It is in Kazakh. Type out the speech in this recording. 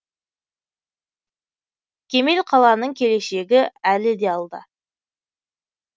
кемел қаланың келешегі әлі де алда